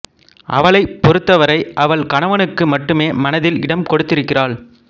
அவளைப் பொறுத்தவரை அவள் கணவனுக்கு மட்டுமே மனதில் இடம் கொடுத்திருக்கிறாள்